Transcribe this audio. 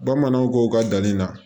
Bamananw ko ka danni na